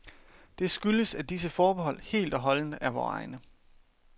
Det skyldes, at disse forbehold helt og holdent er vore egne.